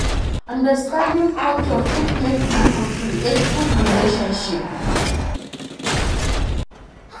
Understanding culture fit make pipo create good relationship